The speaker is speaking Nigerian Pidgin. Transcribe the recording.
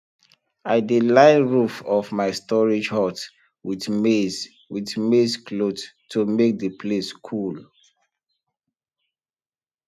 i dey line roof of my storage hut with maize with maize cloth to make the place cool